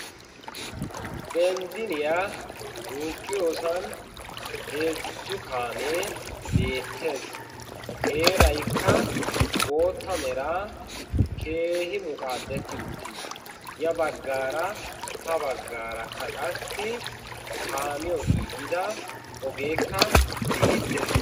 Benzziniyaa duuqqiyoosan heezzu kaamee beettees. heeraykka bootta mera keehi muqaaddetti uttiis. ya baggaara ha baggaarakka qassi kaamiyo giigida ogeekka beettees.